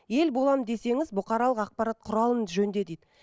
ел боламын десеңіз бұқаралық ақпарат құралын жөнде дейді